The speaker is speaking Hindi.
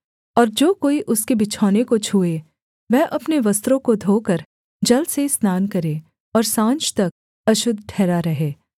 और जो कोई उसके बिछौने को छूए वह अपने वस्त्रों को धोकर जल से स्नान करे और साँझ तक अशुद्ध ठहरा रहे